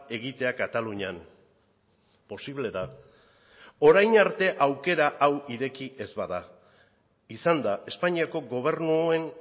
egitea katalunian posible da orain arte aukera hau ireki ez bada izan da espainiako gobernuen